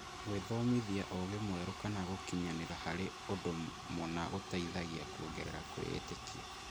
Gwĩthomithia ũũgĩ mwerũ kana gũkinyanĩra harĩ ũndũ mũna gũteithagia kuongerera kwĩĩtĩkia.